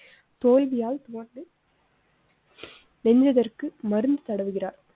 தோல்வியால் அதற்கு மருந்து தடவுகிறார்.